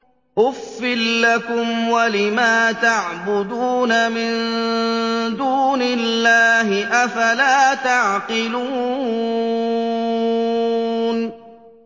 أُفٍّ لَّكُمْ وَلِمَا تَعْبُدُونَ مِن دُونِ اللَّهِ ۖ أَفَلَا تَعْقِلُونَ